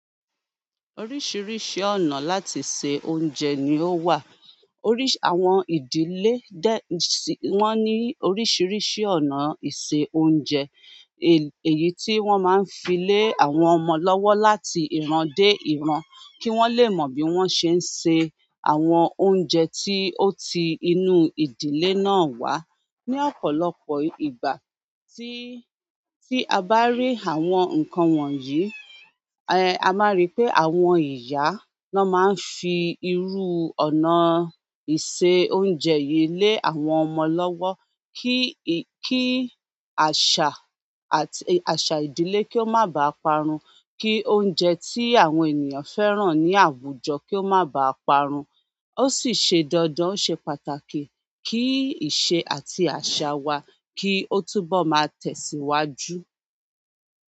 Oríṣiríṣi ọ̀nà láti se oúnjẹ ni ó wà. Oríṣi, àwọn ìdílé, wọ́n ní oríṣiríṣi ọ̀nà ìse oúnjẹ. Èyí tí wọ́n máa ń fi lé àwọn ọmọ lọ́wọ́ láti ìran dé ìran kí wọ́n lè mọ̀ bí wọ́n ṣe ń se àwọn oúnjẹ tí ó ti inú ìdílé náà wá. Ni ọ̀pọ̀lọpọ̀ ìgbà tí, tí a bá rí àwọn nǹkan wọ̀nyí, eh, a máa rí pé àwọn ìyá náà máa ń fi irú ọ̀nà ìse oúnjẹ yìí lé àwọn ọmọ lọ́wọ́ kí, kí àṣà àti, àṣà ìdílé kí ó má bàá parun, kí oúnjẹ tí àwọn ènìyàn fẹ́ràn ní àwùjọ kí ó má bàá parun. Ó sì ṣe dandan, ó ṣe pàtàkì kí ìṣe àti àṣà wa kí ó túbọ̀ máa tẹ̀síwájú.